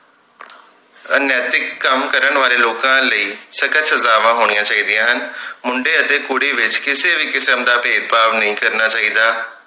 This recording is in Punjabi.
ਅਨੈਤਿਕ ਕੰਮ ਕਰਨ ਵਾਲੇ ਲੋਕਾਂ ਲਈ ਸਖਤ ਸਜਾਵਾਂ ਹੋਣੀਆਂ ਚਾਹੀਦੀਆਂ ਹਨ ਮੁੰਡੇ ਅਤੇ ਕੁੜੀ ਵਿਚ ਕਿਸੇ ਵੀ ਕਿਸਮ ਦਾ ਭੇਦਭਾਵ ਨਹੀਂ ਕਰਨਾ ਚਾਹੀਦਾ